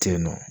Tennɔ